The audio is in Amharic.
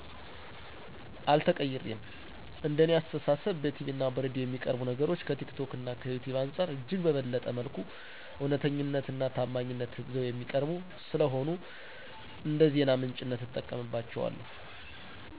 አልተቀይሬም። እንደ እኔ አስተሳሰብ በቲቪ እና በሬዲዮ የሚቀርቡ ነገሮች ከቲክቶክ እና ከዩቲዩብ አንፃር እጅግ በበለጠ መልኩ እውነተኛነት እና ታማኝነት ይዘው የሚቀርቡ ስለሆኑ እንደዜና ምንጭነት እጠቀምባቸዋለሁ።